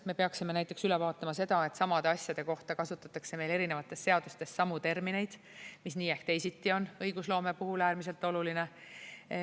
Me peaksime näiteks üle vaatama selle, et samade asjade kohta kasutataks meil erinevates seadustes samu termineid, mis nii ehk teisiti on õigusloome puhul äärmiselt oluline.